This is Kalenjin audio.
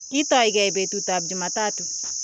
Kitoige betutab Jumatatu